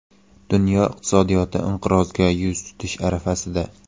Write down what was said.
Dunyo iqtisodiyoti inqirozga yuz tutish arafasida.